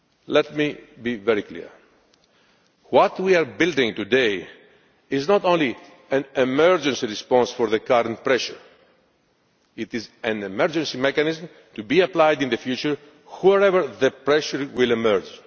Let me be very clear what we are building today is not only an emergency response to the current pressure, but it is also an emergency mechanism to be applied in the future wherever pressure emerges.